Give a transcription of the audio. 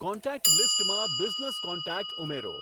contact લીસ્ટમાં business contact ઉમેરો